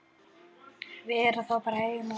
Vera þá bara heima?